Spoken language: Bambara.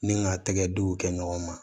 Ni ka tɛgɛ denw kɛ ɲɔgɔn ma